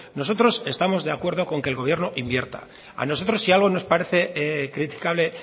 nosotros estamos de acuerdo con que el gobierno invierta a nosotros si algo nos parece criticable